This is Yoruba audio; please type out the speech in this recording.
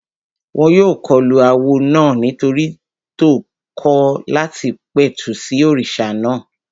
Wọ́n yóò kọlu awo náà nítorí tó kọ̀ láti pẹ̀tù sí òrìṣà náà